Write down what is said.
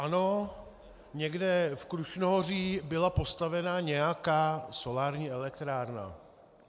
Ano, někde v Krušnohoří byla postavena nějaká solární elektrárna.